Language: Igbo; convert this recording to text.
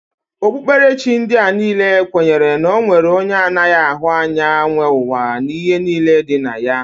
Okpukperechi ndị a niile kwenyere na e nwere onye anaghị ahụ anya nwe ụwa na ihe niile dị na ya